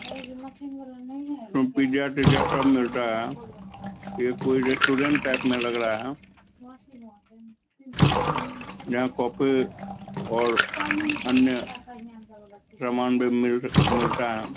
लागे छै मशीन वाला नही आएगा क्या इसमे पिज्जा तिज़्जा सब मिलता है कोई रेस्टोरेंट टाइप में लग रहा है यहां कॉफी और रानी सामान भी मिलता है।